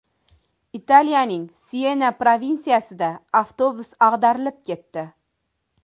Italiyaning Siyena provinsiyasida avtobus ag‘darilib ketdi.